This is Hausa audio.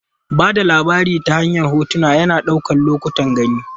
Ba da labari ta hanyar hotuna, yana ɗaukar lokutan gani.